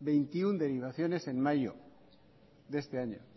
veintiuno derivaciones en mayo de este año